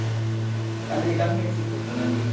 ಅಲ್ಲಿ ಕಮ್ಮಿಯಲ್ಲಿ ಸಿಗ್ತದೆ ನಮ್ಗೆ.